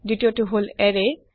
২য় টো হল এৰে